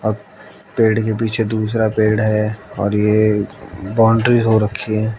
पेड़ के पीछे दूसरा पेड़ है और ये बाउंड्री हो रखी है।